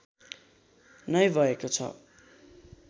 नै भएको छ